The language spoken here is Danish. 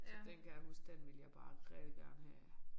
Så den kan jeg huske den ville jeg bare rigtig gerne have